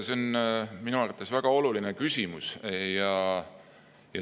See on minu arvates väga oluline küsimus.